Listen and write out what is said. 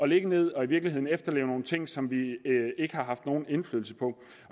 ligge ned og i virkeligheden efterlever nogle ting som vi ikke har haft nogen indflydelse på